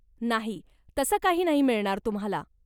नाही, तसं काही नाही मिळणार तुम्हाला.